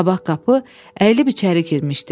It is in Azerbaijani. Qabaq qapı əyilib içəri girmişdi.